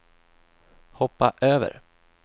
hoppa över